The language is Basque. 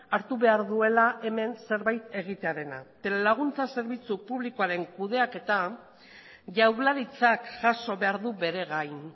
hartu behar duela hemen zerbait egitearena telelaguntza zerbitzu publikoaren kudeaketa jaurlaritzak jaso behar du bere gain